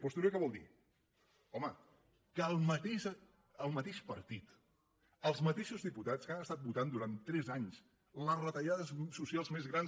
postureo què vol dir home que el mateix partit els mateixos diputats que han estat votant durant tres anys les retallades socials més grans